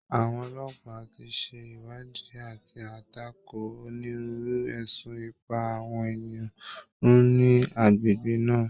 Àwọn ọlọ́pàá ti ṣe ìwádìí àti àtakò onírúurú ẹ̀sùn ìpa àwọn ènìyàn run ni agbègbè náà